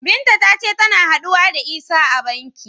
Binta ta ce tana haɗuwa da Isah a cikin banki.